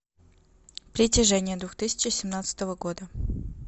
притяжение две тысячи семнадцатого года